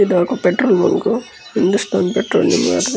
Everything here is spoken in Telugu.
ఇదొక పెట్రోల్ బంకు . హిందూస్తాన్ పెట్రోలియం వారిది.